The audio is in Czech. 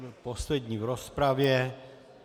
Byl poslední v rozpravě.